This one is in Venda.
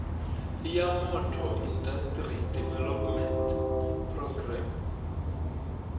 ya motor industry development programme